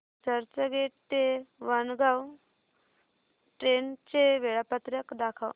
चर्चगेट ते वाणगांव ट्रेन चे वेळापत्रक दाखव